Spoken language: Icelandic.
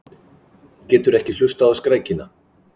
Getur ekki hlustað á skrækina.